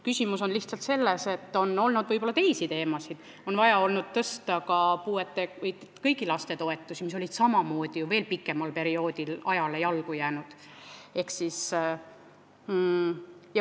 Küsimus on lihtsalt selles, et on olnud võib-olla teisi teemasid, on vaja olnud tõsta kõigi laste toetusi, mis olid samamoodi ja veel pikema perioodi jooksul ajale jalgu jäänud.